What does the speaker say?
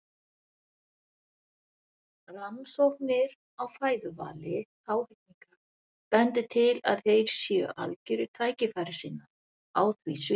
Rannsóknir á fæðuvali háhyrninga bendir til að þeir séu algjörir tækifærissinnar á því sviði.